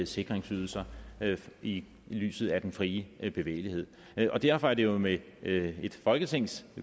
sikringsydelser i lyset af den frie bevægelighed og derfor er det jo med et folketings